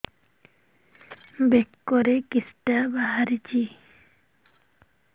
ବେକରେ କିଶଟା ବାହାରିଛି